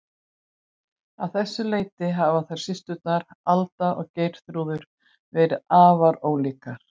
Að þessu leyti hafa þær systurnar, Alda og Geirþrúður, verið afar ólíkar.